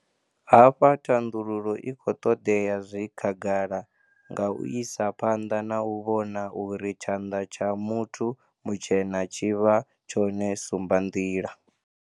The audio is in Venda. Hafha thandululo i kho ṱoḓea zwi khagala nga u isa phanḓa na u vhona uri tshanḓa tsha muthu mutshena tshi vha tshone sumbanḓila.